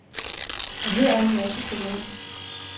Og her er en masse krukkeri.